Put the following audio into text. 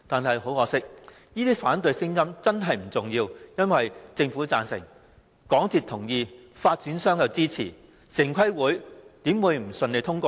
很可惜，這些反對聲音並不重要，因為政府贊成、香港鐵路有限公司同意，發展商也支持，城規會怎會不順利通過建議？